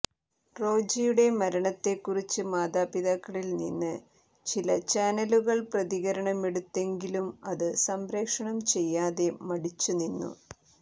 റോജിയുടെ മരണത്തെ കുറിച്ച് മാതാപിതാക്കളിൽ നിന്ന് ചില ചാനലുകൾ പ്രതികരണമെടുത്തെങ്കിലും അത് സംപ്രേഷണം ചെയ്യാതെ മടിച്ചുനിന്നു